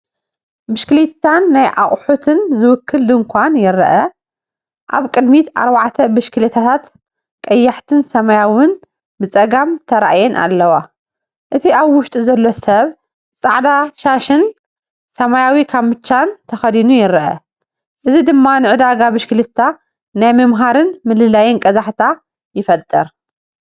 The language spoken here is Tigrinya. ብሽክለታን ናይ ኣቑሑትን ዝውክል ድንኳን ይረአ። ኣብ ቅድሚት ኣርባዕተ ብሽክለታታት ቀያሕትን ሰማያውን ብጸጋም ተራእየን ኣለዋ። እቲ ኣብ ውሽጢ ዘሎ ሰብ ጻዕዳ ሻሽን ሰማያዊ ካምቻን ተኸዲኑ ይርአ። እዚ ድማ ንዕዳጋ ብሽክለታ ናይ ምምሃርን ምልላይን ቀዛሕታ ይፈጥር።